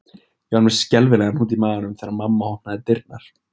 Ég var með skelfilegan hnút í maganum þegar mamma opnaði dyrnar